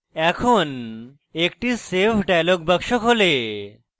একটি save dialog box খোলে